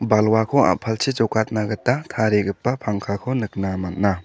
balwako a·palchi jokatna gita tarigipa pangkako nikna man·a.